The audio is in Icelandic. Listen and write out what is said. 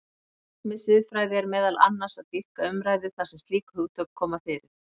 Markmið siðfræði er meðal annars að dýpka umræðu þar sem slík hugtök koma fyrir.